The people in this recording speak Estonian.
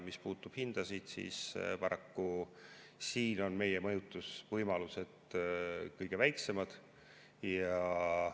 Mis puudutab hindasid, siis paraku siin on meie mõjutusvõimalused kõige väiksemad.